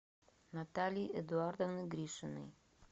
натальи эдуардовны гришиной